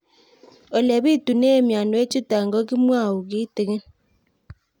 Ole pitune mionwek chutok ko kimwau kitig'ín